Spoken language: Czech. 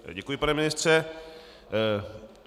Děkuji, pane ministře.